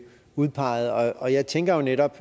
udpeget og jeg tænker netop